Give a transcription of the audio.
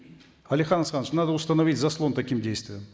алихан асханович надо установить заслон таким действиям